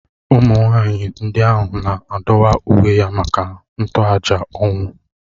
Ụmụ nwaanyị ndị ahụ na-adọwa uwe ya maka ntoaja ọnwụ